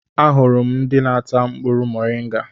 Ahụrụ m ndị na-ata mkpụrụ moringa.